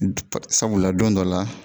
Sabula don dɔ la